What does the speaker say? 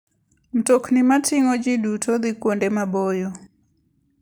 Mtokni mating'o ji duto dhi kuonde maboyo.